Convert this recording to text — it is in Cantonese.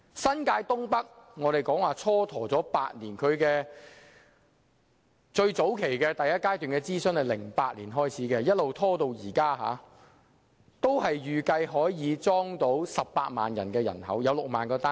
新界東北的發展計劃蹉跎了8年，第一階段諮詢早在2008年已經開始，然後一直拖延至今，但預計也可以容納18萬人口，提供6萬個單位。